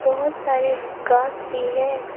बहुत सारे घास भी है।